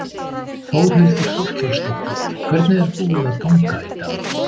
Þórhildur Þorkelsdóttir: Hvernig er búið að ganga í dag?